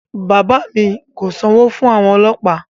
Bàbá mi kò sanwó fún àwọn ọlọ́pàá